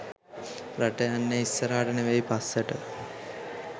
රට යන්නේ ඉස්සරහට නෙවෙයි පස්සට.